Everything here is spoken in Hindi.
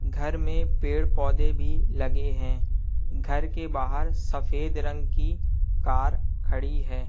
घर में पेड़ पौधे भी लगे हैं घर के बाहर सफेद रंग की कार खड़ी है।